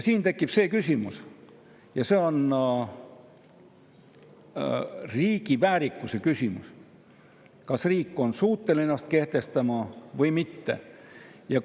Siin tekib see küsimus ja see on riigi väärikuse küsimus: kas riik on suuteline ennast kehtestama või mitte?